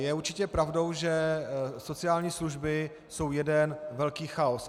Je určitě pravdou, že sociální služby jsou jeden velký chaos.